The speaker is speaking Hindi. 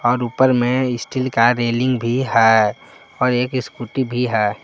और ऊपर मे एक स्टील का रैलिंग भी है और एक स्कूटी भी है ।